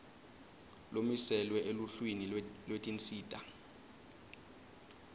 lomiselwe eluhlwini lwetinsita